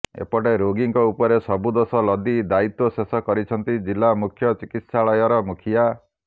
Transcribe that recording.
ଏପଟେ ରୋଗୀଙ୍କ ଉପରେ ସବୁ ଦୋଷ ଲଦି ଦାୟିତ୍ୱ ଶେଷ କରିଛନ୍ତି ଜିଲ୍ଲା ମୁଖ୍ୟ ଚିକିତ୍ସାଳୟର ମୁଖିଆ